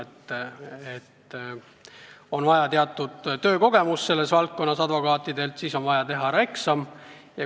Advokaadil on vaja teatud töökogemust selles valdkonnas ja vaja ära teha eksam.